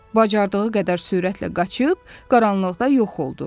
Bacardığı qədər sürətlə qaçıb qaranlıqda yox oldu.